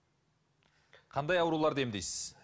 қандай ауруларды емдейсіз